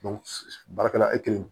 baarakɛla